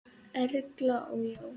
Erla og Jón.